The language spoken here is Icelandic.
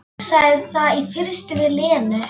Sagði það í fyrstu við Lenu.